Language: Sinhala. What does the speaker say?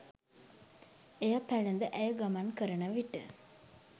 එය පැළැඳ ඇය ගමන් කරන විට